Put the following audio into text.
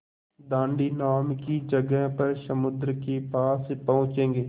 दाँडी नाम की जगह पर समुद्र के पास पहुँचेंगे